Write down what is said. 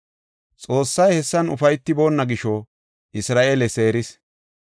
Xoossay hessan ufaytiboonna gisho Isra7eele seeris.